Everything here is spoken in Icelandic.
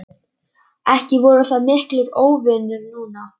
Ekki voru þau miklir óvinir núna.